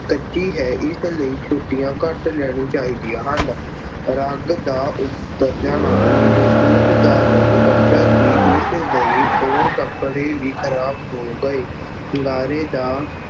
ਕੱਚੀ ਅਹ ਆਰਜੀ ਹੈ ਇਸ ਲਈ ਛੁੱਟੀਆਂ ਘੱਟ ਲੈਣੀਆਂ ਚਾਹੀਦੀਆਂ ਹਨ। ਰੰਗ ਦੇ ਉੱਤਰ ਜਾਣ ਨਾਲ ਮੇਰੇ ਸੂਟ ਦਾ ਰੰਗ ਕੱਚਾ ਸੀ ਇਸ ਲਈ ਹੋਰ ਕੱਪੜੇ ਵੀ ਖਰਾਬ ਹੋ ਗਏ। ਗਾਰੇ ਦਾ